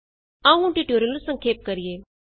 ਆਉ ਹੁਣ ਟਿਯੂਟੋਰਿਅਲ ਨੂੰ ਸੰਖੇਪ ਕਰੀਏ